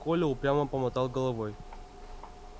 коля упрямо помотал головой